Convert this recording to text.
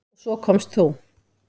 Og svo komst þú!